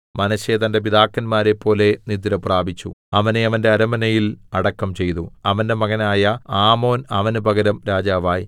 മനശ്ശെ തന്റെ പിതാക്കന്മാരെപ്പോലെ നിദ്രപ്രാപിച്ചു അവനെ അവന്റെ അരമനയിൽ അടക്കം ചെയ്തു അവന്റെ മകനായ ആമോൻ അവന് പകരം രാജാവായി